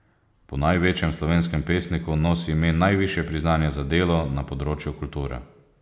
Po največjem slovenskem pesniku nosi ime najvišje priznanje za delo na področju kulture.